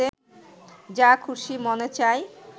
যা খুশী মনে চায়,